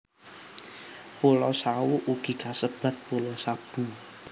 Pulo Sawu ugi kasebat Pulo Sabu